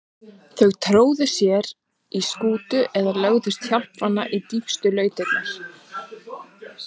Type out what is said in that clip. Þau tróðu sér í skúta eða lögðust hjálparvana í dýpstu lautirnar.